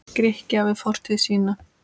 Grikkja við fortíð sína.